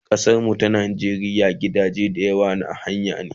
A kasar mu ta Najeriya gidaje da yawa na haya ne